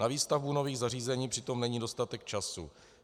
Na výstavbu nových zařízení přitom není dostatek času.